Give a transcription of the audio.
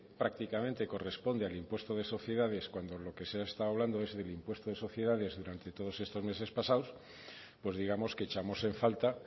prácticamente corresponde al impuesto de sociedades cuando lo que se ha estado hablando es del impuesto de sociedades durante todos estos meses pasado pues digamos que echamos en falta